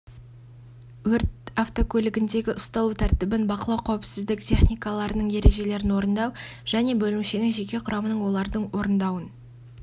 өрт автокөлігіндегі ұсталу тәртібін бақылау қауіпсіздік техникаларының ережелерін орындау және бөлімшенің жеке құрамының оларды орындауын